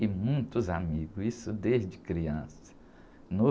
E muitos amigos, isso desde criança. No...